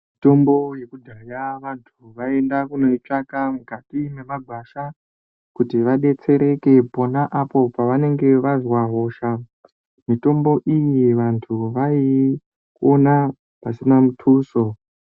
Mitombo yekudhaya vanthu vaienda kundoitsvaka mukati mwemagwasha kuti vadetsereke pona apo pavanenge vazwa hosha mitombo iyi vanthu vaiiona pasina mituso.